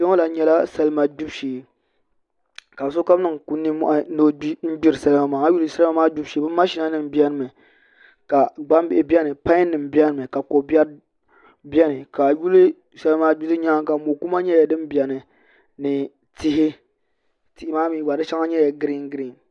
Kpɛ ŋo lahi nyɛla salima gbibu shee ka sokam niŋ nimmohi n gbiri salima maa a yi lihi bi salima maa gbibu shee bi mashina nim biʋni mi ka gbambihi biɛni pai biɛni mi ka ko biɛri biɛni ka a yuli salima gbibu nyaanga mo kuma nyɛla din biɛni ni tihi tihi maa mii gba di shɛŋa nyɛla giriin giriin